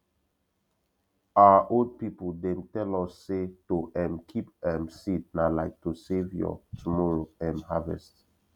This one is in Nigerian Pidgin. our old people dem tell us say to um keep um seed na like to save your tomorrow um harvest